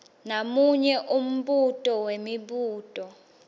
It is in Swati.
namunye umbuto wemibuto